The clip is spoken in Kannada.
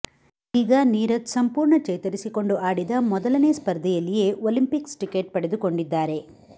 ಇದೀಗ ನೀರಜ್ ಸಂಪೂರ್ಣ ಚೇತರಿಸಿಕೊಂಡು ಆಡಿದ ಮೊದಲನೇ ಸ್ಪರ್ಧೆಯಲ್ಲಿಯೇ ಒಲಿಂಪಿಕ್ಸ್ ಟಿಕೆಟ್ ಪಡೆದುಕೊಂಡಿದ್ದಾರೆ